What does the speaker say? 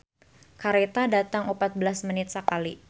"Kareta datang opat belas menit sakali"